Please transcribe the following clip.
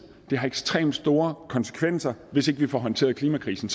at det har ekstremt store konsekvenser hvis ikke vi får håndteret klimakrisen